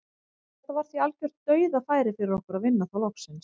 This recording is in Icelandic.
Þetta var því algjört dauðafæri fyrir okkur að vinna þá loksins.